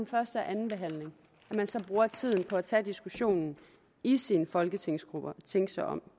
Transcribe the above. første og anden behandling så bruger tiden på at tage diskussionen i sine folketingsgrupper og tænke sig om